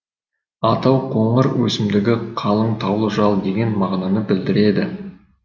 атау қоңыр өсімдігі қалың таулы жал деген мағынаны білдіреді